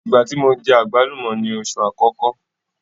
Ìgbá tí mo jẹ àgbálùmọ́ ni oṣù àkọ́kọ́.